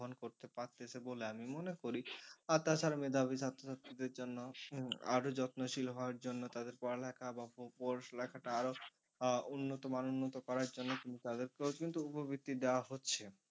করতে পারতেছে বলে আমি মনে করি আর তার তাছাড়া মেধাবী ছাত্র ছাত্রীদের জন্য উম আরো যত্নশীল হওয়ার জন্য তাদের পড়ালেখা বা পড়া লেখাটা আরো আহ উন্নতমান উন্নত করার জন্য কিন্তু তাদের কেউ কিন্তু উপবৃত্তি দেওয়া হচ্ছে।